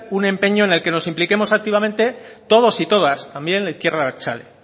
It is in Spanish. un empeño en el que nos impliquemos activamente todos y todas también la izquierda abertzale